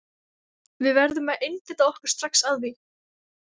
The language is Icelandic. Við verðum að einbeita okkur strax að því.